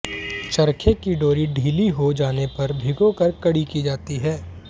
चरखे की डोरी ढीली हो जाने पर भिगोकर कड़ी की जाती है